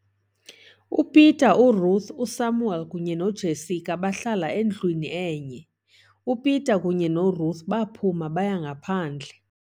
"UPeter, uRuth, uSamuel kunye noJessica bahlala endwini enye. uPeter kunye noRuth baphuma baya ngaphandle.